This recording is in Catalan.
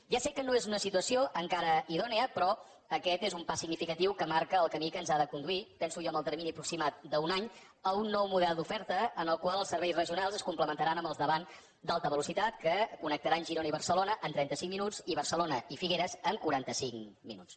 ja sé que no és una situació encara idònia però aquest és un pas significatiu que marca el camí que ens ha de conduir penso jo en el termini aproximat d’un any a un nou model d’oferta en el qual els serveis regionals es complementaran amb els d’avant d’alta velocitat que connectaran girona i barcelona en trenta cinc minuts i barcelona i figueres en quaranta cinc minuts